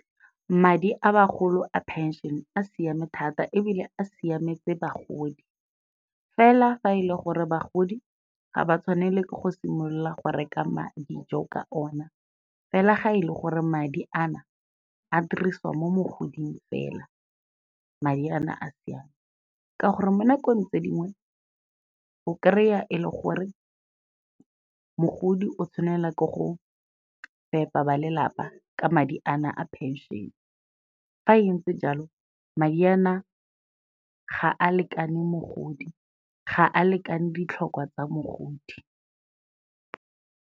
Madi a bagolo a phenšene a siame thata ebile a siametse bagodi, fela fa e le gore bagodi ga ba tshwanele ke go simolola go reka dijo ka o na, fela ga e le gore madi a na a dirisiwa mo mogoding fela, madi a na a siame. Ka gore mo nakong tse dingwe, o kry-a e le gore mogodi o tshwanela ke go fepa ba lelapa ka madi a na a phenšene, fa entse jalo madi a na ga a lekane mogodi, ga a lekane ditlhokwa tsa mogodi.